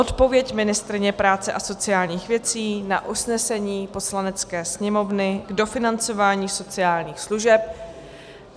Odpověď ministryně práce a sociálních věcí na usnesení Poslanecké sněmovny k dofinancování sociálních služeb.